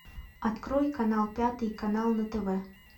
открой канал пятый канал на тв